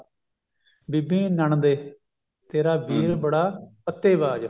ਬੀਬੀ ਨੰਣਦੇ ਤੇਰਾ ਵੀਰ ਬੜਾ ਪੱਤੇ ਬਾਜ